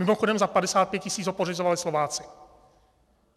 Mimochodem za 55 tis. ho pořizovali Slováci.